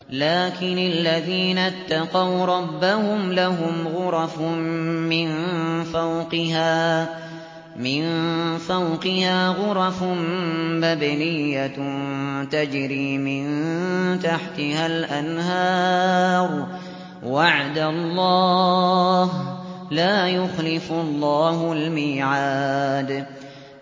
لَٰكِنِ الَّذِينَ اتَّقَوْا رَبَّهُمْ لَهُمْ غُرَفٌ مِّن فَوْقِهَا غُرَفٌ مَّبْنِيَّةٌ تَجْرِي مِن تَحْتِهَا الْأَنْهَارُ ۖ وَعْدَ اللَّهِ ۖ لَا يُخْلِفُ اللَّهُ الْمِيعَادَ